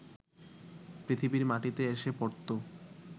পৃথিবীর মাটিতে এসে পড়ত